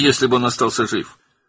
Bəs əgər o, sağ qalsaydı?